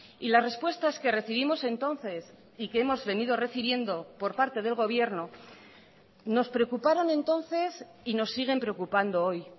y las respuestas que recibimos entonces y que hemos venido recibiendo por parte del gobierno nos preocuparon entonces y nos siguen preocupando hoy